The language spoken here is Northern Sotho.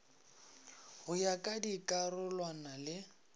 go ya ka dikarolwana le